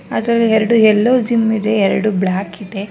ಅದರ ಎರಡು ಎಲ್ಲೋ ಜಿಮ್ ಇದೆ ಎರಡು ಬ್ಲ್ಯಾಕ್ ಇದೆ.